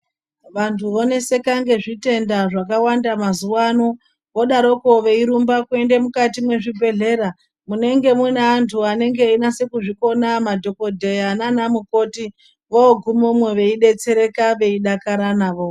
Vantu voneseka ngezvitenda zvakawanda mazuwa ano vodaroko veirumba kuenda mukati mwezvibhedhlera munenge mune antu anenge einase kuzvikona madhokodheya naana mukoti vogumemwo veidetsereka veidakara navo.